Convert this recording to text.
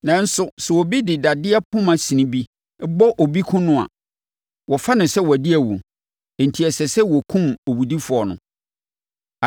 “Nanso, sɛ obi de dadeɛ poma sin bi bɔ obi kum no a, wɔfa no sɛ wadi awu, enti ɛsɛ sɛ wɔkum owudifoɔ no.